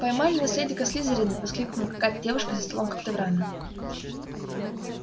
поймали наследника слизерина воскликнула какая-то девушка за столом когтеврана